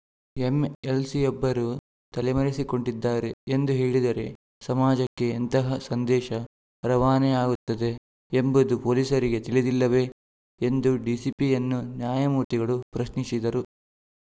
ಎಂಎಲ್‌ಸಿಯೊಬ್ಬರು ತಲೆಮರೆಸಿಕೊಂಡಿದ್ದಾರೆ ಎಂದು ಹೇಳಿದರೆ ಸಮಾಜಕ್ಕೆ ಎಂತಹ ಸಂದೇಶ ರವಾನೆಯಾಗುತ್ತದೆ ಎಂಬುದು ಪೊಲೀಸರಿಗೆ ತಿಳಿದಿಲ್ಲವೇ ಎಂದು ಡಿಸಿಪಿಯನ್ನು ನ್ಯಾಯಮೂರ್ತಿಗಳು ಪ್ರಶ್ನಿಸಿದರು